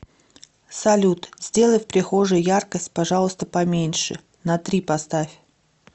салют сделай в прихожей яркость пожалуйста поменьше на три поставь